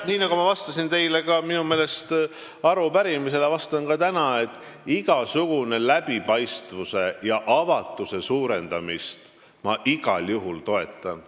Nii nagu vist vastasin teile arupärimisele vastates, vastan ka täna, et läbipaistvuse ja avatuse igasugust suurendamist ma igal juhul toetan.